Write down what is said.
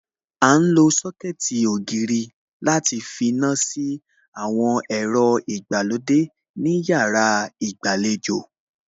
À ń lo Sọ́kẹ̀tì ògiri láti finá sí àwọn ẹ̀rọ ìgbàlódé ní yàrá ìgbàlejò